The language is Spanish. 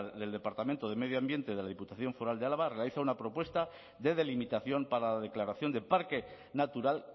del departamento de medio ambiente de la diputación foral de álava realiza una propuesta de delimitación para la declaración de parque natural